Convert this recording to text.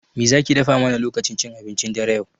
Me zaki dafa mana lokacin cin abincin dare yau?